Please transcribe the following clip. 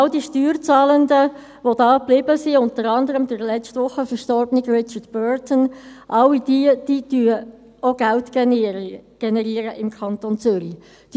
All diese Steuerzahlenden, die hierblieben, unter anderem der letzte Woche verstorbene Richard Burdon, all diese generieren im Kanton Zürich auch Geld.